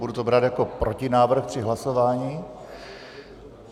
Budu to brát jako protinávrh při hlasování.